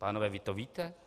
Pánové, vy to víte?